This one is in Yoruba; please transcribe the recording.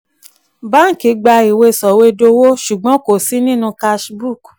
báǹkì gbà ìwé sọ̀wédowó ṣùgbọ́n kò sí nínú cash book.